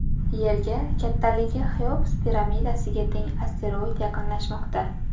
Yerga kattaligi Xeops piramidasiga teng asteroid yaqinlashmoqda.